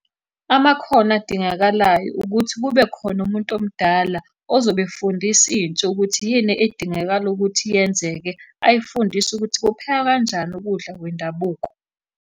Amakhono adingakalayo ukuthi kube khona umuntu omdala ozobe efundisa intsha ukuthi yini edingakala ukuthi yenzeke, ayifundise ukuthi kuphekwa kanjani ukudla kwendabuko.